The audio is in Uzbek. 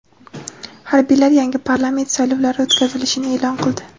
Harbiylar yangi parlament saylovlari o‘tkazilishini e’lon qildi .